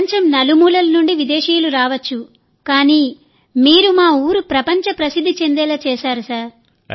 ప్రపంచం నలుమూలల నుండి విదేశీయులు రావచ్చు కానీ మీరు మా ఊరుప్రపంచ ప్రసిద్ధి చెందేలా చేశారు సార్